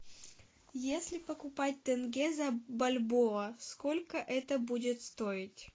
если покупать тенге за бальбоа сколько это будет стоить